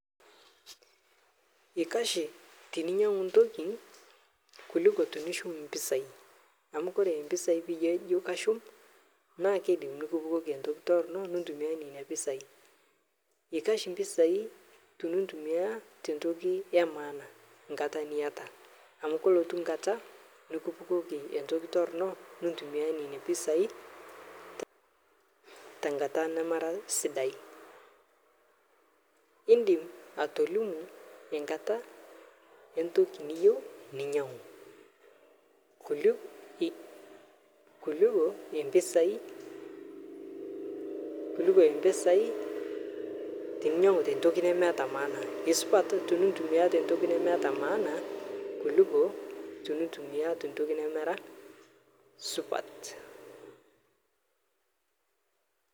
Eikash teninyangu ntokin alang tenishuk mpisai amu koree mpisai tenijo kashuk naa keidim nikipukoki entoki toronok nintumia nena pisai ikash mpisai tintumia te ntoki ee maana nkata niata amu kelotu nkata nekipukoki entoki torono nintumia nena pisai te nkata nemera sidai indim atolimu enkata entoki niyieu ninyangu kuliko mpisai teninyangu tentoki nemeeta maana misupat tenintumia tentoki nemeeta maana kuliko tenintumia tentoki nemera supat